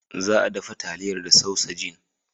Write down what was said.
Za a dafa taliyar da sausajin.